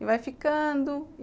e vai ficando.